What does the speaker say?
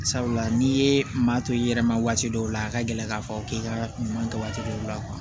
Sabula n'i ye maa to i yɛrɛ ma waati dɔw la a ka gɛlɛ k'a fɔ k'i ka ɲuman kɛ waati dɔw la kuwa